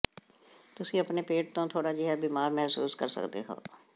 ਤੁਸੀਂ ਆਪਣੇ ਪੇਟ ਤੋਂ ਥੋੜਾ ਜਿਹਾ ਬਿਮਾਰ ਮਹਿਸੂਸ ਕਰ ਸਕਦੇ ਹੋ